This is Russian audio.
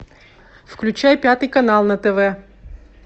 включай пятый канал на тв